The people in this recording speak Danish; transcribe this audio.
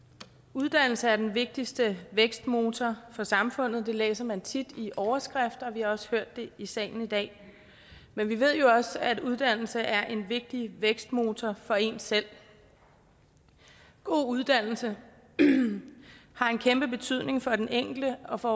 uddannelse er den vigtigste vækstmotor for samfundet det læser man tit i overskrifter og vi har også hørt det i salen i dag men vi ved jo også at uddannelse er en vigtig vækstmotor for en selv god uddannelse har en kæmpe betydning for den enkelte og for